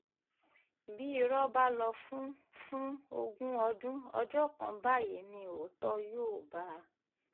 bí irọ́ bá lọ fún fún ogún ọdún ọjọ́ kan báyìí ni òótọ́ yóò bá a